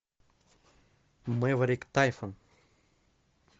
мэверик тайсон